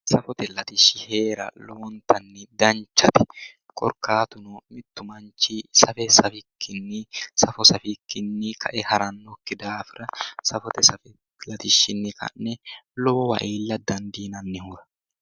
Safote latishshi heera lowontanni danchate korkaatuno mittu manchi safo safikkinni kae harannokki daafira safote latishshinni ka'ne lowowa iilla dandiinannihura